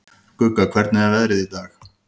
Gugga, hvernig er veðrið í dag?